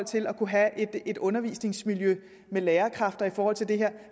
til at kunne have et undervisningsmiljø med lærerkræfter i forhold til det her